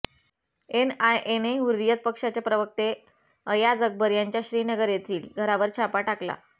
एनआयएने हुर्रियत पक्षाचे प्रवत्ते अयाज अकबर यांच्या श्रीनगर येथील घरावर छापा टाकला